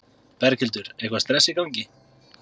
Berghildur: Eitthvað stress í gangi?